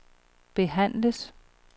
behandles